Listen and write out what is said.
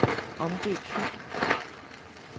Omdøb fil.